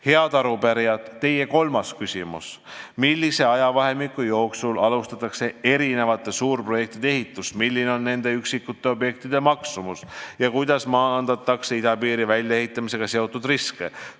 Head arupärijad, teie kolmas küsimus: "Millise ajavahemiku jooksul alustatakse erinevate suurprojektide ehitust, milline on nende üksikute objektide maksumus ja kuidas maandatakse idapiiri väljaehitamisega seotud riske?